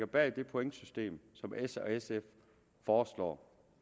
bag det pointsystem som s og sf foreslår